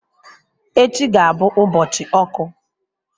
Echi ga-abụ ụbọchị ọkụ.